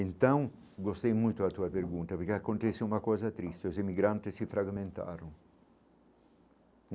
Então, gostei muito da tua pergunta, porque acontece uma coisa triste, os imigrantes se fragmentaram.